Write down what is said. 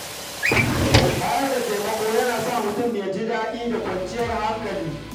Bayar da taimako yana sa mutum ya ji daɗin rayuwa da kwanciyar hankali.